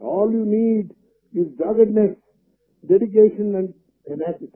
all you need is doggedness dedication and tenacity